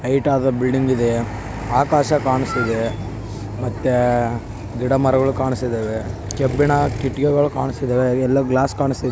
ಹೈಟ್ಆಗಿದೆ building ಇದೆ ಆಕಾಶ ಕ್ಲಾನ್ಸ್ತಿದೆ ಮತ್ತೆ ಗಿಡ ಮರಗಳು ಕಾನ್ಸಿದಿವೆ ಕೆಬ್ಬಿನ ಕಿಡಕಿಗಳು ಕಾನ್ಸಿದವೇ ಯಲ್ಲೋ ಗ್ಲಾಸ್ ಕಾನ್--